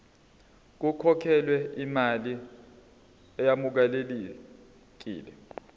kukhokhelwe imali eyamukelekile